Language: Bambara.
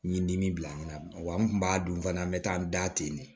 N ye dimi bila n na wa n kun b'a dun fana n bɛ taa n da ten de